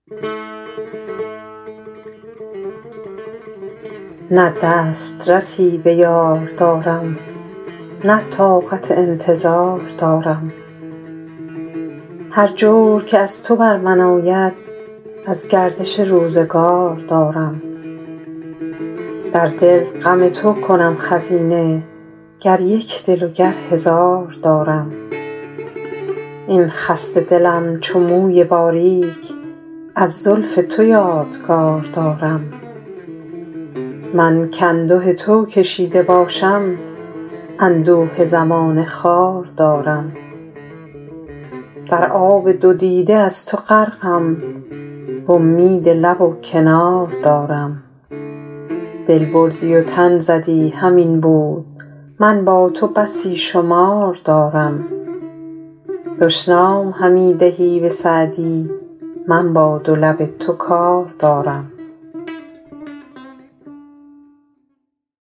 نه دست رسی به یار دارم نه طاقت انتظار دارم هر جور که از تو بر من آید از گردش روزگار دارم در دل غم تو کنم خزینه گر یک دل و گر هزار دارم این خسته دلم چو موی باریک از زلف تو یادگار دارم من کانده تو کشیده باشم اندوه زمانه خوار دارم در آب دو دیده از تو غرقم وامید لب و کنار دارم دل بردی و تن زدی همین بود من با تو بسی شمار دارم دشنام همی دهی به سعدی من با دو لب تو کار دارم